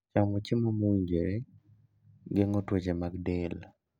Chamo chiemo mowinjore geng'o tuoche mag del.